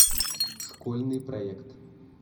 школьный проект